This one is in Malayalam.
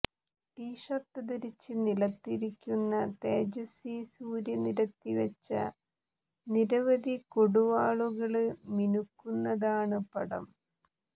ടീഷര്ട്ടു ധരിച്ച് നിലത്ത് ഇരിക്കുന്ന തേജസ്വി സൂര്യ നിരത്തിവച്ച നിരവധി കൊടുവാളുകള് മിനുക്കുന്നതാണ് പടം